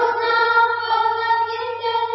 শস্যশ্যামলাং মাতরম